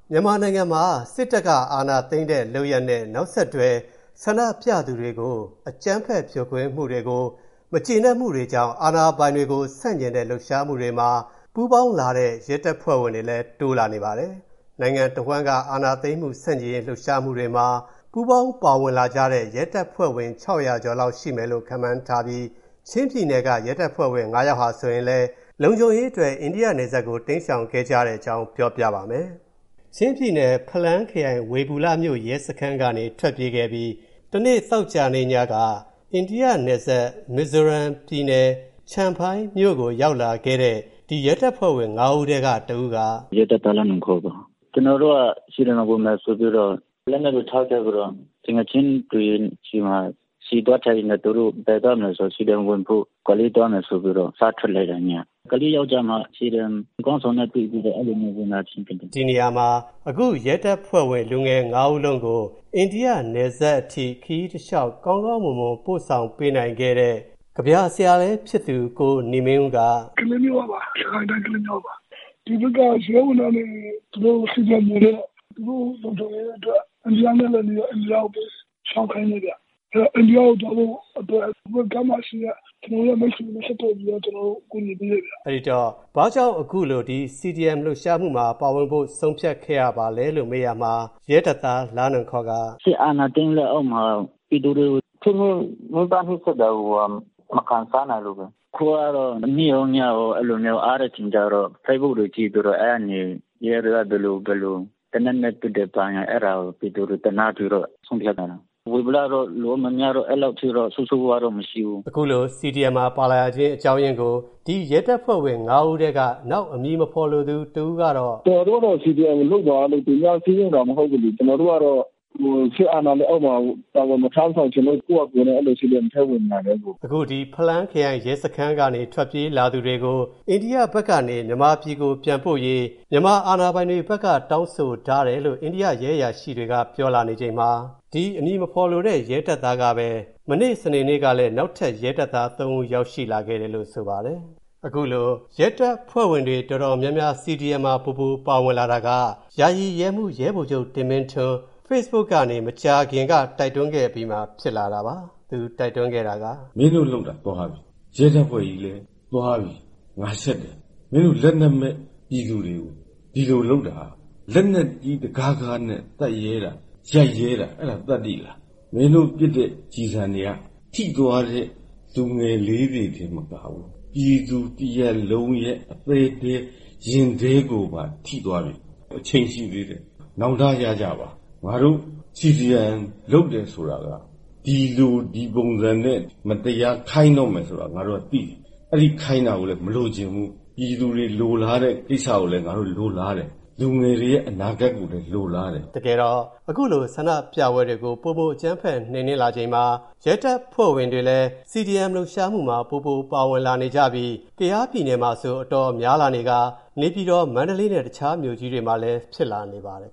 မြန်မာနိုင်ငံမှာ စစ်တပ်က အာဏာသိမ်းထားတာကို ဆန့်ကျင် ဆန္ဒပြသူနေသူတွေအပေါ် အကြမ်းဖက် ဖြိုခွင်းတာကို မကျေနပ်တာကြောင့် အာဏာဖီဆန်ရေး ဆန့်ကျင်တဲ့လှုပ်ရှားမှု CDM မှာ ပူးပေါင်းလာတဲ့ ရဲတပ်ဖွဲ့ဝင်တွေလည်း တိုးလာနေပါတယ်။ နိုင်ငံအဝန်းက အာဏာသိမ်းမှု ဆန့်ကျင်ရေး လှုပ်ရှားမှုတွေမှာ ပူးပေါင်းလာကြတဲ့ ရဲတပ်ဖွဲ့ဝင် ၆၀၀ ကျော်လောက် ရှိမယ်လို့ ခန့်မှန်းထားပြီး၊ ချင်းပြည်နယ်က ရဲတပ်ဖွဲ့ဝင် ၅ ယောက်ဟာ ဆိုရင်လည်း လုံခြုံရေးအတွက် အိန္ဒိယနယ်စပ်ကို တိမ်းရှောင်ခဲ့ကြတဲ့အကြောင်း ကိုဝင်းမင်းက ပြောပြထားပါတယ်။ ချင်းပြည်နယ် ဖလန်းခရိုင် ဝေဘူလမြို့ကနေ ထွက်ပြေးခဲ့ကြပြီး သောကြာနေ့ညက အိန္ဒိယနယ်စပ် မီဇိုရမ်ပြည်နယ် ချမ်ဖိုင်းမြို့ကို ရောက်လာခဲ့တဲ့ ဒီရဲတပ်ဖွဲ့ဝင် ၅ ဦးထဲက တဦးက - " ကျနော်က ရဲတပ်သား လာ့နွန်ခေါပါ။ ကျနော်တို့က CDM ဝင်မယ်ဆိုပြီးတော့ လက်နက်ကို ထားခဲ့ပါတယ်။ သူငယ်ချင်းတွေဆီမှာ ဆီသွားထည့်ရင်းနဲ့ သူတို့ကလည်း CDM ဝင်မယ် ၊ ကလေးမြို့ကိုသွားမယ်ဆိုပြီး ညဘက် စထွက်လာခဲ့တာ CDM ခေါင်းဆောင်နဲ့ တွေ့ပြီး အဲလို ဝင်လာဖြစ်တာပါ။ " ဒီနေရာမှာ အဲဒီရဲတပ်ဖွဲ့ဝင် လူငယ် ဦးစလုံးကို အိန္ဒိယ နယ်စပ်အထိ ကောင်းကောင်းမွန်မွန် ပို့ဆောင်ပေးခဲ့တဲ့ ကဗျာဆရာလည်း ဖြစ်သူ ကိုနေမင်းဦးက - " ကျနော်က စစ်ကိုင်းတိုင်း ကလေးမြို့ကပါ။ ဒီမှာ ရဲဝန်ထမ်းတွေ CDM ဝင်တော့ သူတို့လုံခြုံရေးအတွက် အိန္ဒိယနဲ့လည်းနီးတော့ အိန္ဒိယဘက်ကို ရှောင်ခိုင်းလိုက်တာဗျ။ အဲဒီလိုသွားဖို့ ဟိုဖက်ကမ်းမှာရှိတဲ့ ကျနော်တို့ရဲ့ မိတ်ဆွေတွေနဲ့ ဆက်သွယ်ပြီး အကူအညီပေးလိုက်ပါတယ်။ " အဲဒီတော့ ဒီ CDM လှုပ်ရှားမှုမှာပါဝင်ဖို့ ဘာ့ကြောင့် ဆုံးဖြတ်ခဲ့ရပါသလဲလို့ မေးရာမှာ ရဲတပ်သား လာ့နွန်ခေါက - " စစ်အာဏာသိမ်း လက်အောက်မှာ ပြည်သူတွေကို ဖိနှိပ်ညှဉ်းပန်း နှိပ်စက်တာကို မခံစားနိုင်လို့ပဲ။ အခုကတော့ နေ့ရောညရော အားတဲ့အချိန်မှာ ဖေ့စ်ဘွတ်ကို ကြည့်ပြီးတော့ ရဲတွေက သေနတ်နဲ့ ပစ်တယ် ဘာညာ အဲဒါကိုကြည့်ပြီး ပြည်သူတွေကို သနားလာလို့ ခုလိုဆုံးဖြတ်ရတာ။ ဝေဘူလမြို့မှာက လူမများတော့ အဲလောက်တော့ ဆိုးဆိုးဝါးဝါး မရှိဘူး။ " အခုလို CDM မှာ ပါလာရခြင်း အကြောင်းအရင်းကို ဒီရဲတပ်ဖွဲ့ဝင် ၅ ဦးထဲက နောက်ထပ် အမည်မဖေါ်လိုသူ တဦးပြောတာကတော့ - " ကျနော်တို့ကတော့.. CDM ကို လုပ်ပါဆိုပြီး သူများတွေက လာစည်းရုံးလို့ လုပ်တာမဟုတ်ဘူးလေ။ ကျနော်တို့က စစ်အာဏာရှင် လက်အောက်မှာ တာဝန် မထမ်းဆောင်ချင်လို့ ကိုယ့်ဟာကို CDM ထဲ ဝင်လာတာပါ။ " အခုဒီ ဖလန်းခရိုင်ရဲစခန်းကနေ ထွက်ပြေးလာသူတွေကို အိန္ဒိယဘက်ကနေ မြန်မာပြည်ကို ပြန်ပို့ပေးဖို့ မြန်မာအာဏာပိုင်တွေက တောင်းဆိုထားတယ်လို့ အိန္ဒိယရဲအရာရှိတွေက ပြောနေချိန်မှာပဲ စနေနေ့တုန်းက နောက်ထပ် ရဲတပ်သား ဦး ထပ်မံ ရောက်ရှိလာတယ်လို့ ဆိုပါတယ်။ အခုလို ရဲတပ်ဖွဲ့ဝင် CDM မှာပိုပြီး ပါဝင်လာတာက ယာယီရဲမှူး ရဲဗိုလ်ချုပ် တင်မင်းထွန်း ဖေ့စ်ဘွတ်ကနေ မကြားသေးခင် တိုက်တွန်းခဲ့အပြီး ဖြစ်လာတာပါ။ ဖေ့စ်ဘွတ်မှာ Live လွှင့်ရင်း သူတိုက်တွန်းခဲ့တာက - " မင်းတို့လုပ်တာ ရဲတပ်ဖွဲ့ကြီးလည်း သွားပြီ..ငါ ရှက်တယ်။ လက်နက်မဲ့ ပြည်သူတွေကို မင်းတို့ ဒီလိုလုပ်တာက လက်နက်ကြီး တကားကားနဲ့ သတ်ရဲတာ ရိုက်ရဲတာ အဲဒါသတ္တိလား။ မင်းတို့ ပစ်လိုက်တဲ့ ကျည်ဆံတွေက ထိသွားတဲ့ လူငယ်လေးတွေတင် မကဘူး၊ ပြည်သူတရပ်လုံးရဲ့ အသဲထဲ ရင်ထဲကိုပါ ထိသွားပြီ။ အချိန်ရှိသေးတယ် နောင်တရကြပါ။ ငါတို့ CDM လုပ်တယ်ဆိုတာက ဒီလို ဒီပုံစံနဲ့ မတရားခိုင်းတော့မယ်ဆိုတာ ငါတို့ကသိနေတယ်.. အဲဒီလို ခိုင်းလာတာကိုလည်း မလိုချင်ဘူး။ ပြည်သူတွေလိုလားနေတဲ့ ကိစ္စကို ငါတို့လည်း လိုလားတယ်။ လူငယ်တွေရဲ့ အနာဂတ်ကိုလည်း လိုလားတယ်။" တကယ်တော့ ဆန္ဒပြပွဲတွေကို ပိုပြီးအကြမ်းဖက် နှိမ်နင်းလာချိန်မှာ ရဲတပ်ဖွဲ့ဝင်တွေလည်း CDM လှုပ်ရှားမှုမှာ ပိုပြီး ပါဝင်လာနေကြပြီး ၊ ကယားပြည်နယ်မှာ အများဆုံးနဲ့ နေပြည်တော် မန္တလေးမြို့တွေမှာလည်း ရှိလာနေပါတယ်